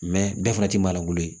bɛɛ fana ti maa golo ye